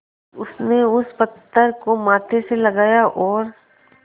उसने उस पत्थर को माथे से लगाया और